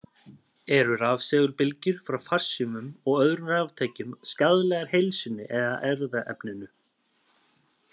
Eru rafsegulbylgjur frá farsímum og öðrum raftækjum skaðlegar heilsunni eða erfðaefninu?